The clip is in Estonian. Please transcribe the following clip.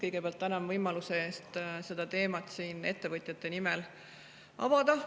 Kõigepealt tänan võimaluse eest seda teemat siin ettevõtjate nimel avada.